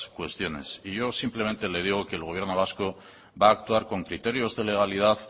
cuestiones y yo simplemente le digo que el gobierno vasco va a actuar con criterios de legalidad